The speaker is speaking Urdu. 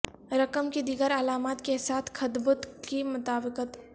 رقم کی دیگر علامات کے ساتھ خطبط کی مطابقت